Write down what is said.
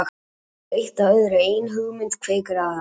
Svo leiðir eitt af öðru, ein hugmynd kveikir aðra.